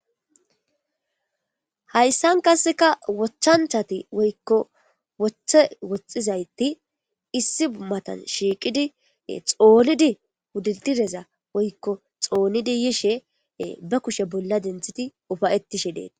Hayssan kasseka wochchanchati woykko woththe woxizayti issi bummatan shiiqidi xoonidi wudidireza woykko xoonidi yishe ba kushe bolla denthiti ufayettishe deeta.